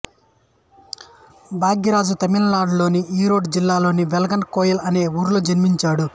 భాగ్యరాజా తమిళనాడు లోని ఈరోడ్ జిల్లాలోని వెళ్ళన్ కోయిల్ అనే ఊర్లో జన్మించాడు